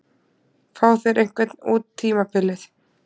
Fá þeir einhvern út tímabilið?